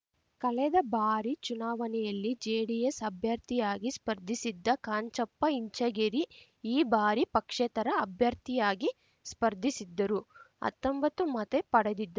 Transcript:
ಕಳೆದ ಬಾರಿ ಚುನಾವಣೆಯಲ್ಲಿ ಜೆಡಿಎಸ್‌ ಅಭ್ಯರ್ಥಿಯಾಗಿ ಸ್ಪರ್ಧಿಸಿದ್ದ ಕಾಂಚಪ್ಪ ಇಂಚಗೇರಿ ಈ ಬಾರಿ ಪಕ್ಷೇತರ ಅಭ್ಯರ್ಥಿಯಾಗಿ ಸ್ಪರ್ಧಿಸಿದ್ದರೂ ಹತ್ತೊಂಬತ್ತು ಮತ ಪಡೆದಿದ್